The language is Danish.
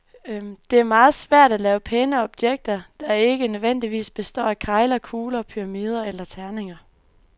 Det er meget svært at lave pæne objekter, der ikke nødvendigvis består af kegler, kugler, pyramider eller terninger.